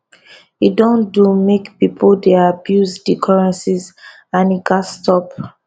e don do make pipo dey abuse di currencies and e gatz stop